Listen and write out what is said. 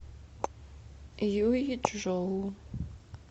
юйчжоу